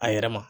A yɛrɛ ma